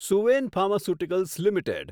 Suven pharmaceuticals limited